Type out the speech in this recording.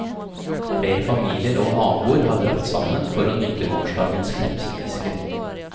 Flere familier og naboer hadde dratt sammen for å nyte gårsdagens krepsefiske.